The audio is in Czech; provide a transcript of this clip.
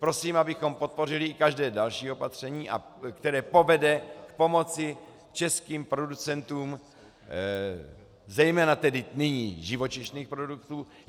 Prosím, abychom podpořili i každé další opatření, které povede k pomoci českým producentům zejména tedy nyní živočišných produktů.